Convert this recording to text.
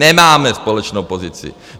Nemáme společnou pozici.